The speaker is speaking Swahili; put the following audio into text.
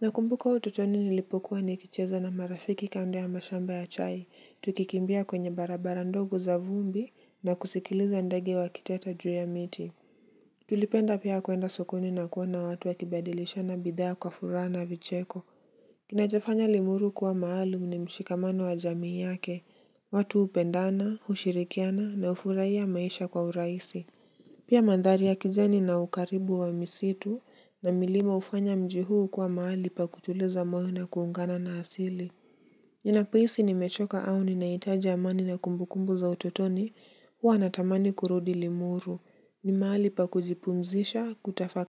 Nakumbuka utotoni nilipokuwa nikicheza na marafiki kando ya mashamba ya chai, tukikimbia kwenye barabara ndogo za vumbi na kusikiliza ndege wakiteta juu ya miti. Tulipenda pia kuenda sokoni na kuona watu wakibadilishana bidhaa kwa furaha na vicheko. Kinachofanya Limuru kuwa mahali ni mshikamano wa jamii yake. Watu hupendana, hushirikiana na hufurahia maisha kwa urahisi. Pia mandhari ya kijani na ukaribu wa misitu na milima hufanya mji huu kuwa mahali pa kutuliza moyo na kuungana na asili. Ninapohisi nimechoka au ninahitaji amani na kumbukumbu za utotoni huwa natamani kurudi. Limuru. Ni mahali pa kujipumzisha, kutafakari.